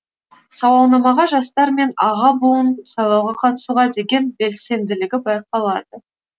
сауалнамаға жастар мен аға буын сайлауға қатысуға деген белсенділігі байқалады